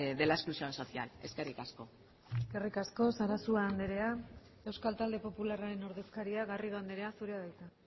de la exclusión social eskerrik asko eskerrik asko sarasua andrea euskal talde popularraren ordezkaria garrido andrea zurea da hitza